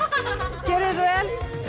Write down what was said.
gjörið þið svo vel